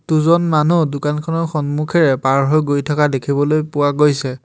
দুজন মানুহ দোকানখনৰ সন্মুখেৰে পাৰ হৈ গৈ থকা দেখিবলৈ পোৱা গৈছে।